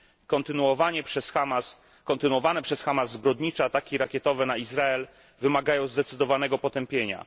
Kontynuowane przez Hamas zbrodnicze ataki rakietowe na Izrael wymagają zdecydowanego potępienia.